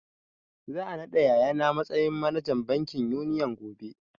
Za a naɗa yaya na matsayin manajan bankin Union gobe